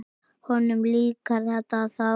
Honum líkar þetta þá.